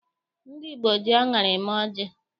Ndị Igbo ji aṅara eme ọjị